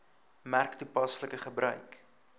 merk toepaslike gebruik